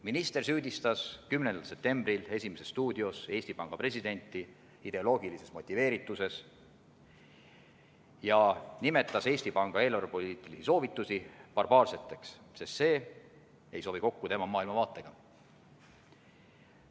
Minister süüdistas 10. septembril "Esimeses stuudios" Eesti Panga presidenti ideoloogilises motiveerituses ja nimetas Eesti Panga eelarvepoliitilisi soovitusi barbaarseteks, sest need ei sobi kokku tema maailmavaatega.